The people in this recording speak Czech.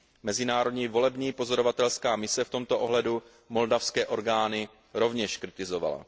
Mezinárodní volební pozorovatelská mise v tomto ohledu moldavské orgány rovněž kritizovala.